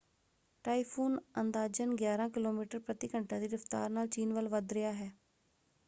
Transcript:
Typhoon ਅੰਦਾਜ਼ਨ ਗਿਆਰਾਂ kilometre ਪ੍ਰਤੀ ਘੰਟਾ ਦੀ ਰਫ਼ਤਾਰ ਨਾਲ ਚੀਨ ਵੱਲ ਵੱਧ ਰਿਹਾ ਹੈ।